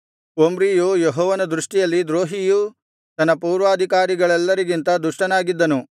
ಒಮ್ರಿಯು ಯೆಹೋವನ ದೃಷ್ಟಿಯಲ್ಲಿ ದ್ರೋಹಿಯೂ ತನ್ನ ಪೂರ್ವಾಧಿಕಾರಿಗಳೆಲ್ಲರಿಗಿಂತ ದುಷ್ಟನಾಗಿದ್ದನು